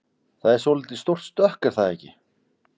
Það er svolítið stórt stökk er það ekki?